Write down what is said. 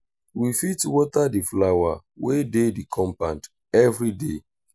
we fit water di flower wey dey di compound everyday